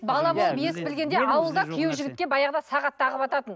ауылда күйеу жігітке баяғыда сағат тағывататын